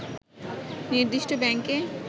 নির্দিষ্ট ব্যাংকে